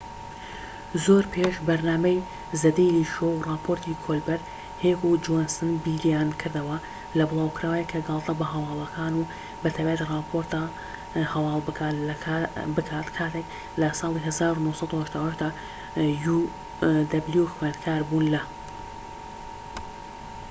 زۆر پێش بەرنامەی زە دەیلی شۆ و ڕاپۆرتی کۆلبەرت، هێک و جۆنسن بیریانکردەوە لە بڵاوکراوەیەک کە گاڵتە بە هەواڵەکان و بە تایبەتی ڕاپۆرتە هەواڵ بکات کاتێک خوێندکار بوون لە uw لە ساڵی ١٩٨٨ دا